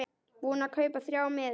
Búinn að kaupa þrjá miða.